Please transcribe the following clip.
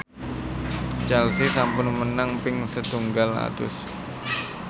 Chelsea sampun menang ping setunggal atus